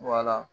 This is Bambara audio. Wala